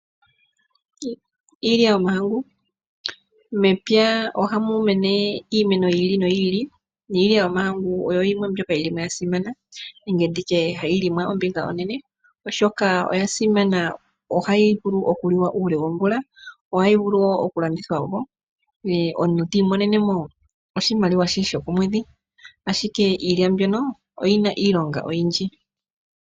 Iilya yomahangu, mepya ohamu mene iimeno yiili noyi ili niilya yomahangu oyo yimwe mpyoka yili mo ya simana nenge nditye hayi limwa ombinga onene oshoka oya simana ohayi vulu oku liwa uule womvula, ohayi vulu woo oku landithwa po omuntu tiimonene mo oshimaliwe she shokomwedhi ashike iilya mbyono oyi na iilonga oyindji.